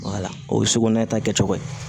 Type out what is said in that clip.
o ye suko nɛ ta kɛcogo ye